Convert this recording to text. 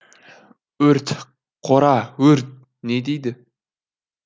өрт қора өрт не дейді